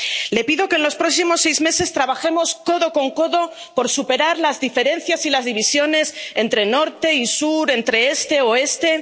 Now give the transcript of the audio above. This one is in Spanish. Le pido que en los próximos seis meses trabajemos codo con codo por superar las diferencias y las divisiones entre norte y sur, entre este y oeste